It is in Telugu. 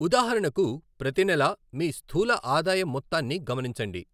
ఉదాహరణకు, ప్రతి నెలా మీ స్థూల ఆదాయాం మొత్తాన్ని గమనించండి.